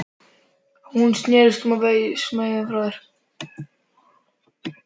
Hún snerist á sveif með þeim